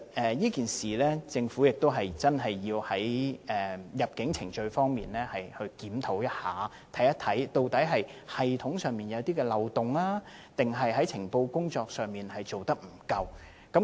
在這件事上，政府的確需要在入境程序方面進行檢討，看看究竟是系統上有漏洞，抑或情報工作做得不夠。